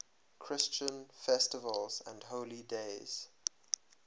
christian festivals and holy days